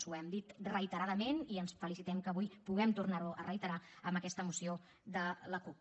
ho hem dit reiteradament i ens felicitem que avui puguem tornar ho a reiterar amb aquesta moció de la cup